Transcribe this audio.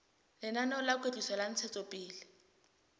lenaneo la kwetliso le ntshetsopele